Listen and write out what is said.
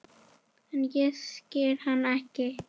En ég skil hann ekki.